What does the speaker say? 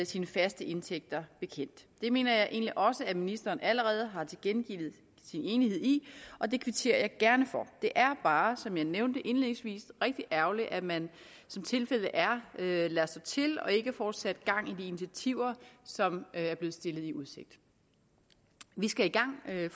sine faste indtægter bekendt det mener jeg egentlig også at ministeren allerede har tilkendegivet sin enighed i og det kvitterer jeg gerne for det er bare som jeg nævnte indledningsvis rigtig ærgerligt at man som tilfældet er lader stå til og ikke får sat gang i de initiativer som er blevet stillet i udsigt vi skal i gang vil jeg